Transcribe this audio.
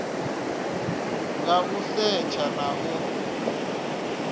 nga u setsha na u